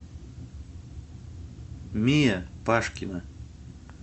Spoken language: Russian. мия пашкина